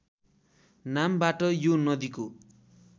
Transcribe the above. नामबाट यो नदीको